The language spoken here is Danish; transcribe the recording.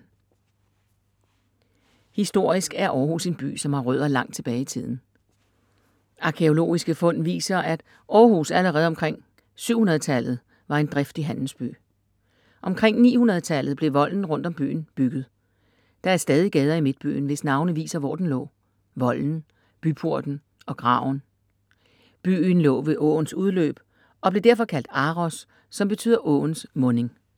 Historisk er Århus en by, som har rødder langt tilbage i tiden. Arkæologiske fund viser, at Århus allerede omkring 700 tallet var en driftig handelsby. Omkring 900 tallet blev volden rundt om byen bygget. Der er stadig gader i midtbyen, hvis navne viser, hvor den lå: Volden, Byporten og Graven. Byen lå ved åens udløb og blev derfor kaldt Aros, som betyder åens munding.